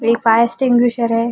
एक fire extinguisher है।